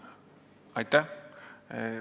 Aitäh!